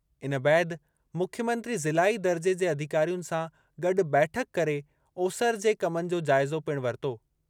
इन बैदि मुख्यमंत्री ज़िलाई दर्जे जे अधिकारियुनि सां गॾु बैठक करे ओसरि जे कमनि जो जाइज़ो पिणु वरितो।